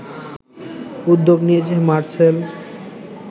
উদ্যোগ নিয়েছে মারসেল